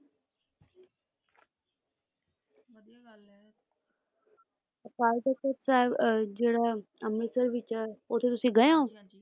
ਜਿਹੜਾ ਅੰਮ੍ਰਿਤਸਰ ਵਿਚ ਹੈ ਉਥੇ ਤੁਸੀਂ ਗਏ ਹੋ